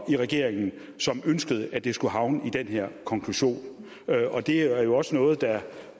i regeringen som ønskede at det skulle havne i den her konklusion det er jo også noget der